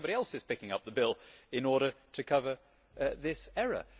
So somebody else is picking up the bill in order to cover this error.